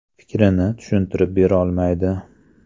Fikrini tushuntirib berolmaydi.